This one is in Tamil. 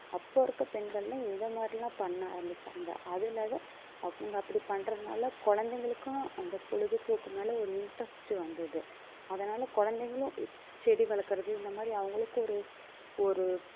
அப்போ இருக்கிற பெண்கள்லாம் இந்த மாதிரிலாம் பண்ண ஆரம்பிச்சாங்க அதுலாத அவங்க அப்படி பண்றதுனால குழந்தைகளுக்கும் அந்த பொழுதுபோக்கு மேல ஒரு interest வந்தது அதனால குழந்தைங்களும் இப்~ செடி வளர்க்கிறது இந்த மாதிரி அவங்களுக்கு ஒரு ஒரு